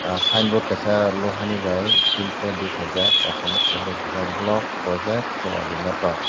sign board kaisa loha ni bai tin plate rwi khaijak kosom o kuphur bai swijak block project coordinator.